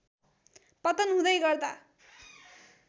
पतन हुँदै गर्दा